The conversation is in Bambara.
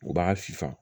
U b'a fifa